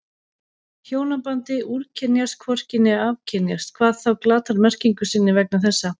Hjónabandið úrkynjast hvorki né afkynjast, hvað þá glatar merkingu sinni vegna þessa.